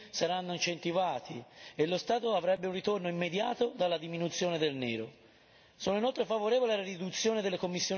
Se i cittadini possono avere dei benefici concreti saranno incentivati e lo Stato avrebbe un ritorno immediato dalla diminuzione del nero.